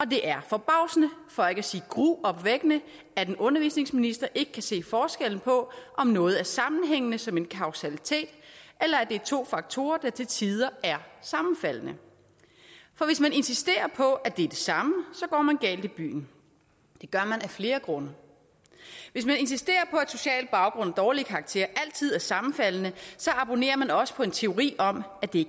det er forbavsende for ikke at sige gruopvækkende at en undervisningsminister ikke kan se forskellen på om noget er sammenhængende som en kausalitet eller at det er to faktorer der til tider er sammenfaldende for hvis man insisterer på at det er det samme går man galt i byen det gør man af flere grunde hvis man insisterer på at social baggrund og dårlige karakterer altid er sammenfaldende så abonnerer man også på en teori om at det